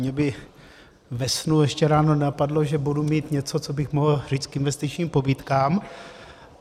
Mě by ve snu ještě ráno nenapadlo, že budu mít něco, co bych mohl říct k investičním pobídkám.